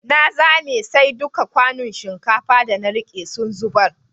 Na zame, sai dukan kwanun shinkafa da na rike sun zubar.